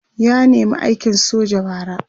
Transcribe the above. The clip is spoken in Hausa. ya nema aikin soja bara